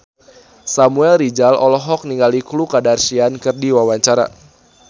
Samuel Rizal olohok ningali Khloe Kardashian keur diwawancara